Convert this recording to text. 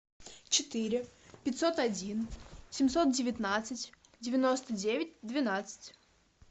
четыре пятьсот один семьсот девятнадцать девяносто девять двенадцать